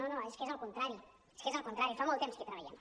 no no és que és al contrari és al contrari fa molt temps que hi treballem